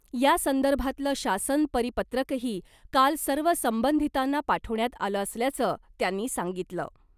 यासंदर्भातलं शासन परिपत्रकही काल सर्व संबंधितांना पाठवण्यात आलं असल्याचं त्यांनी सांगितलं .